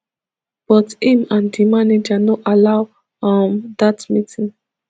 but im and di manager no allow um dat meeting